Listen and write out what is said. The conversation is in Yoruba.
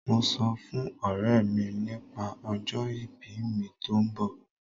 Mo sọ fún ọ̀rẹ́ mi nípa ọjọ ìbí mi tó ń bọ̀.